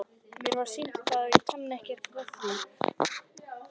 Mér var sýnt það en ég kannaðist ekkert við það.